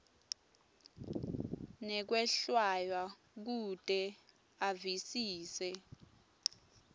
nekwehlwaya kute avisise